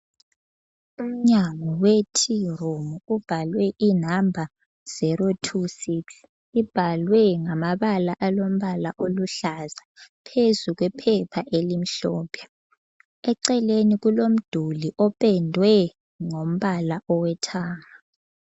Umnyango we tea room ubhalwe I number 026 ,ibhalwe ngamabala alombala oluhlaza phezu kwephepha elimhlophe ,eceleni kulomduli opendwe ngombala owethara.